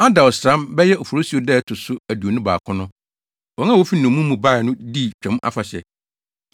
Adar ɔsram (bɛyɛ Oforisuo) da a ɛto so aduonu baako no, wɔn a wofi nnommum mu bae no dii Twam Afahyɛ.